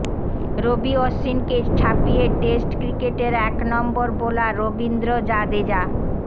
রবি অশ্বিনকে ছাপিয়ে টেস্ট ক্রিকেটের একনম্বর বোলার রবীন্দ্র জাদেজা